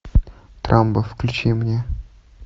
трамбо включи мне